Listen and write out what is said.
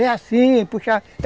É assim, puxava.